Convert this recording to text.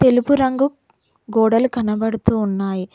తెలుపు రంగు గోడలు కనబడుతూ ఉన్నాయి.